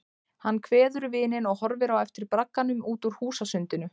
Hann kveður vininn og horfir á eftir bragganum út úr húsasundinu.